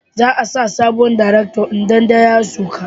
Za a sa sabuwar darekta in na da ya sauka